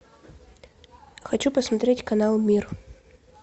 хочу посмотреть канал мир